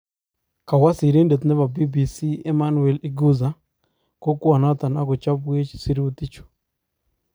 kawoo sirindet nepo BBC Emmanuel Iguza kokwanaton akochapwech sirytichu